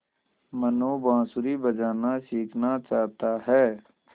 मनु बाँसुरी बजाना सीखना चाहता है